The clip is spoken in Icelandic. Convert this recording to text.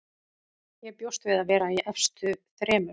Ég bjóst við að vera í efstu þremur.